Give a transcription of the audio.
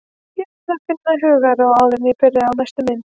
Ég verð að finna hugarró áður en ég byrja á næstu mynd.